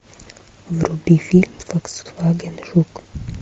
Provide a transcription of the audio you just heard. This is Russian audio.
вруби фильм фольксваген жук